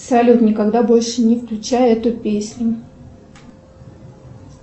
салют никогда больше не включай эту песню